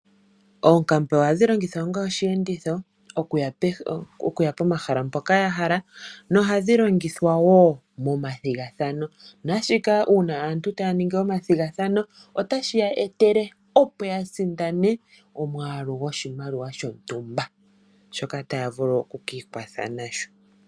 Oonkambe ohadhi longithwa onga oshi enditho, oku ya pomahala mpoka ya hala, noha dhi longithwa wo momathigathano. Naashika uuna aantu taya ningi omathigathano otashi ya etele opo ya sindane omwaalu gwoshimaliwa shontumba, shoka taya vulu oku ki ikwatha nasho.